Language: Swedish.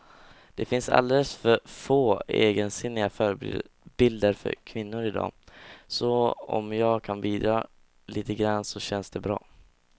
Det finns alldeles för få egensinniga förebilder för kvinnor i dag, så om jag kan bidra lite grann så känns det bra.